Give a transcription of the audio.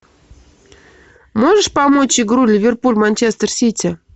можешь помочь игру ливерпуль манчестер сити